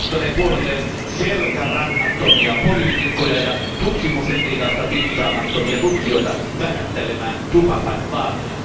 Se houkuttelee puolelleen selkärangattomia poliitikkoja ja tutkimusetiikasta piittaamattomia tutkijoita vähättelemään tupakan vaaroja.